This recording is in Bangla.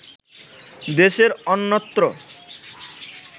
দেশের অন্যত্র